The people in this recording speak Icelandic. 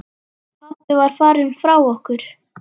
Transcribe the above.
Pabbi var farinn frá okkur.